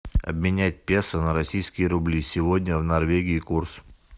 обменять песо на российские рубли сегодня в норвегии курс